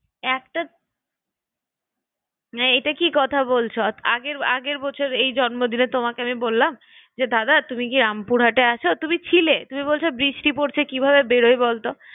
তোকে হয়তো অনেকজন ফোন করেছে না এইটা কি কথা বলছো? আগের বছর এই জম্নদিনে তোমাকে আমি বললাম যে দাদা তুমি কি রামপুরহাটে আছো? তুমি ছিলে তুমি বলছো বৃষ্টি পড়ছে কিভাবে বেড়োয় বলতো?